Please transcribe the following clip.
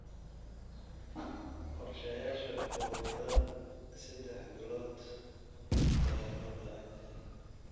Qorshayaasha ugu yaraan saddex bilood ayaa loo baahan yahay.